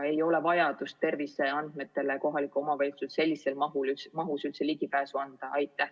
Ei ole vajadust anda kohalikele omavalitsustele sellises mahus ligipääs terviseandmetele.